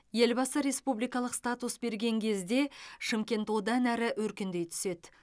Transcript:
елбасы республикалық статус берген кезде шымкент одан әрі өркендей түседі